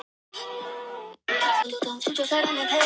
Telurðu að það ýti undir þessa kenningu þína og styðji við hana?